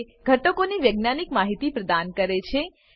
તે ઘટકોની વૈજ્ઞાનિક માહિતી પ્રદાન કરે છે